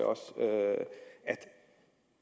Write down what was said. jeg